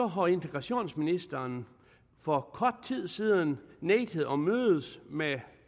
har integrationsministeren for kort tid siden nægtet at mødes med